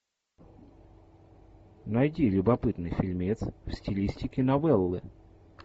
найди любопытный фильмец в стилистике новеллы